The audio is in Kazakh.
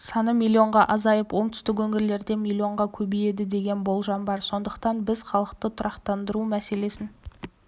саны миллионға азайып оңтүстік өңірлерде миллионға көбейеді деген болжам бар сондықтан біз халықты тұрақтандыру мәселесін